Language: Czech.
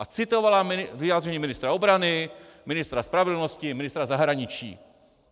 A citovala vyjádření ministra obrany, ministra spravedlnosti, ministra zahraničí.